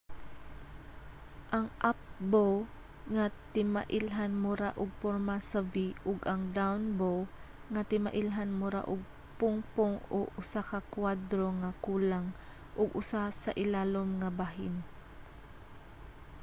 ang up bow nga timailhan mura og porma sa v ug ang down bow nga timailhan mura og pungpong o usa ka kuwadro nga kulang og usa sa ilalom nga bahin